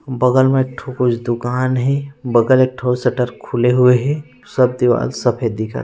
बगल में एक ठु कुछ दुकान हे बगल में एक ठो सटर खुले हुए हे सब दीवाल सफ़ेद दिखत हे।